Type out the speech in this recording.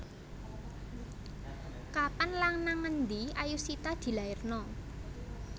Kapan lan nang endi Ayushita dilairno